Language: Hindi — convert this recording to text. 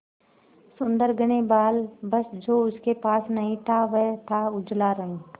सुंदर घने बाल बस जो उसके पास नहीं था वह था उजला रंग